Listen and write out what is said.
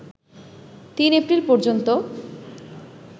৩ April পর্যন্ত